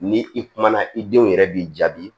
Ni i kumana i denw yɛrɛ b'i jaabi